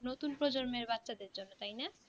নুতুন প্রজন্মের বাচ্চাদের জন্য তাই না